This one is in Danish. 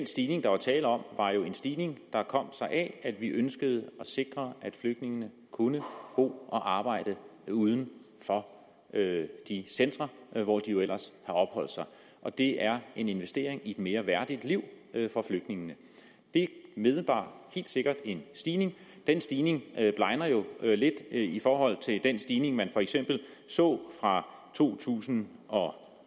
stigning der var tale om var jo en stigning der kom sig af at vi ønskede at sikre at flygtningene kunne bo og arbejde uden for de centre hvor de jo ellers har opholdt sig og det er en investering i et mere værdigt liv for flygtningene det indebar helt sikkert en stigning og den stigning blegner jo lidt i forhold til den stigning man for eksempel så fra to tusind og